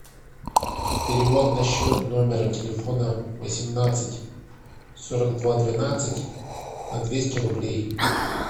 перевод на счет номера телефона восемнадцать сорок два двенадцать на двести рублей